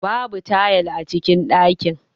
Babu tayal a cikin dakin.